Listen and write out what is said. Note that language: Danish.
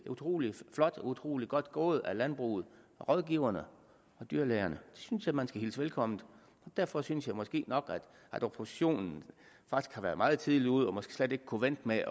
utrolig flot og utrolig godt gået af landbruget rådgiverne og dyrlægerne det synes jeg man skal hilse velkomment derfor synes jeg måske nok at oppositionen faktisk har været meget tidligt ude og måske slet ikke kunne vente med